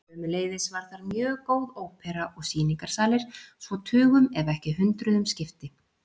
Sömuleiðis var þar mjög góð ópera og sýningarsalir svo tugum ef ekki hundruðum skipti.